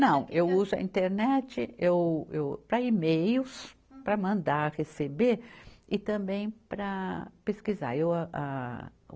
Não, eu uso a internet, eu, eu para e-mails, para mandar, receber e também para pesquisar. eu ah, ah